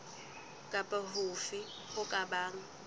kapa hofe ho ka bang